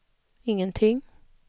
ingenting